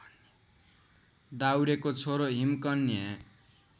दाउरेको छोरो हिमकन्या